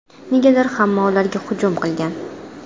Negadir hamma ularga hujum qilgan.